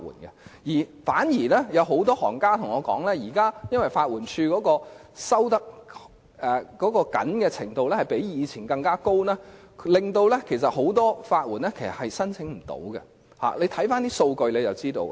相反，很多律師對我說現時法援署的要求較以前更為嚴謹，令很多法援申請失敗，大家只要看看數據便會知道。